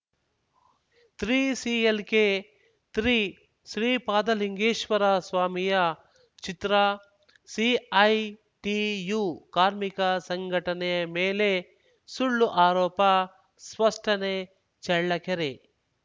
ತ್ರಿಸಿಎಲ್‌ಕೆತ್ರಿ ಶ್ರೀಪಾತಲಿಂಗೇಶ್ವರ ಸ್ವಾಮಿಯ ಚಿತ್ರ ಸಿಐಟಿಯು ಕಾರ್ಮಿಕ ಸಂಘಟನೆ ಮೇಲೆ ಸುಳ್ಳು ಆರೋಪ ಸ್ಪಷ್ಟನೆ ಚಳ್ಳಕೆರೆ